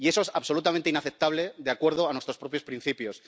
Y eso es absolutamente inaceptable de acuerdo a nuestros propios principios.